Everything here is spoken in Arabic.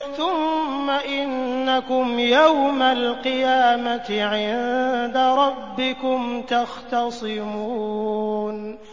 ثُمَّ إِنَّكُمْ يَوْمَ الْقِيَامَةِ عِندَ رَبِّكُمْ تَخْتَصِمُونَ